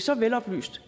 så veloplyst